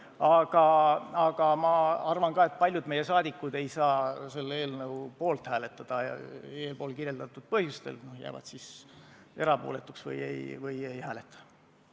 Aga samas ma arvan, et paljud meie liikmed ei saa selle eelnõu poolt hääletada eelkirjeldatud põhjustel, seega nad kas jäävad erapooletuks või ei hääleta üldse.